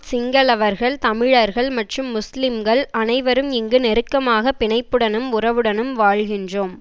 சிங்களவர்கள் தமிழர்கள் மற்றும் முஸ்லிம்கள் அனைவரும் இங்கு நெருக்கமான பினைப்புடனும் உறவுடனும் வாழ்கின்றோம்